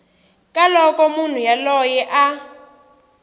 ka loko munhu yoloye a